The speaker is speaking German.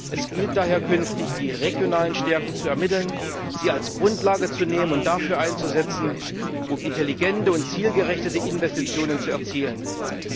Es gilt daher künftig, die regionalen Stärken zu ermitteln, sie als Grundlage heranzuziehen und dafür einzusetzen, um intelligente und zielgerechte Investitionen anzuschieben.